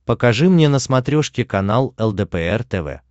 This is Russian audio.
покажи мне на смотрешке канал лдпр тв